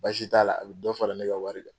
Baasi t'a la a bɛ dɔ fara ne ka wari kan.